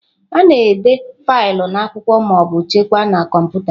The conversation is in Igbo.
A na-ede faịlụ n'akwụkwọ ma ọ bụ chekwaa na kọmputa.